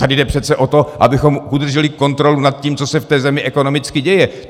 Tady jde přece o to, abychom udrželi kontrolu nad tím, co se v té zemi ekonomicky děje.